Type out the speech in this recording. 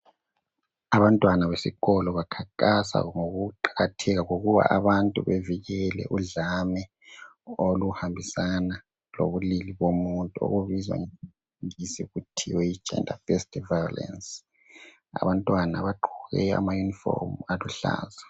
Abantwana besikolo bakhankasa ngokuqakatheka kokuba abantu bevikele udlame oluhambisana lobulili bomuntu okubizwa ngesingisi kuthiwe yi gender based violence . Abantwana bagqoke amauniform aluhlaza.